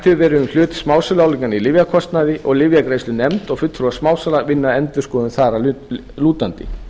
verið um hlut smásöluálagningar í lyfjakostnað og lyfjagreiðslunefnd og fulltrúar smásala vinna að endurskoðun þar að lútandi